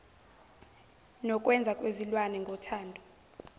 nokwenza kwezilwane ngothando